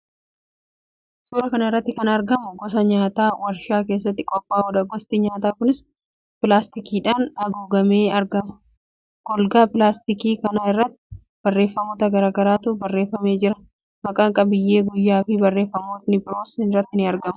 Suuraa kana irratti kan argamu gosa nyaataa warshaa keessatti qophaa'uudha. Gosti nyaataa kunis pilaastikiidhaan haguugamee argama. Golgaa pilaastikii kana irrattis barreeffamoota garaa garaatu barreeffamee jira. Maqaa, qabiyyee, guyyaafi barreeffamootni biroonis irratti argama.